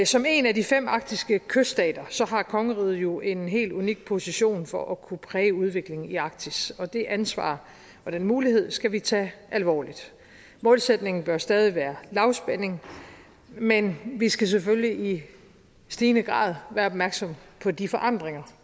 som en af de fem arktiske kyststater har kongeriget jo en helt unik position for at kunne præge udviklingen i arktis og det ansvar og den mulighed skal vi tage alvorligt målsætningen bør stadig være lavspænding men vi skal selvfølgelig i stigende grad være opmærksomme på de forandringer